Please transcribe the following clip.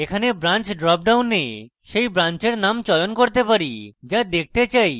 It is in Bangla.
এখানে branch drop ডাউনে সেই ব্রান্চের name চয়ন করতে পারি যা দেখতে চাই